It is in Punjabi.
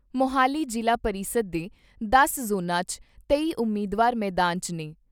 ਮੋਹਾਲੀ ਜ਼ਿਲ੍ਹਾ ਪਰਿਸ਼ਦ ਦੇ ਦਸ ਜ਼ੋਨਾਂ 'ਚ ਤੇਈ ਉਮੀਦਵਾਰ ਮੈਦਾਨ 'ਚ ਨੇ।